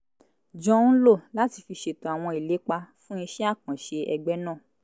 jọ ń lò láti fi ṣètò àwọn ìlépa fún iṣẹ́ àkànṣe ẹgbẹ́ náà